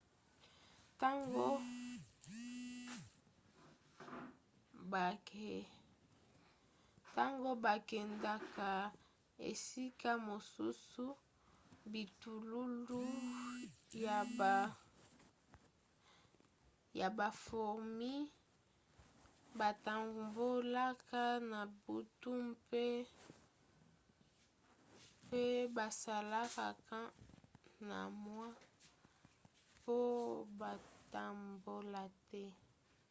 ntango bakendaka esika mosusu bitululu ya bafourmis batambolaka na butu mpe basalaka camp na moi mpo batambola te